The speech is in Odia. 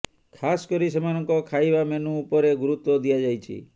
ଖାସ୍ କରି ସେମାନଙ୍କ ଖାଇବା ମେନୁ ଉପରେ ଗୁରୁତ୍ୱ ଦିଆଯାଇଛି